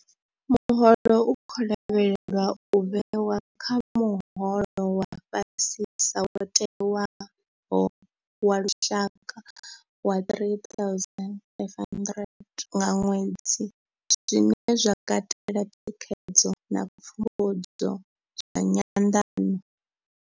Muholo u khou lavhelelwa u vhewa kha muholo wa fhasisa wo tewaho wa lushaka wa R3 500 nga ṅwedzi, zwine zwa katela thikhedzo na pfumbudzo zwa nyanḓano.